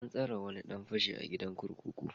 An tsare wani dan fashi a gidan kurkuku.